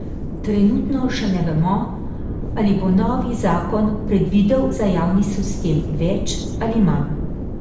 Trenutno še ne vemo, ali bo novi zakon predvidel za javni sistem več ali manj.